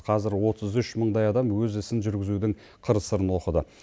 қазір отыз үш мыңдай адам өз ісін жүргізудің қыр сырын оқыды